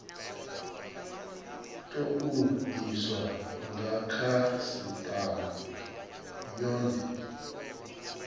tou diswa nga khasitama yone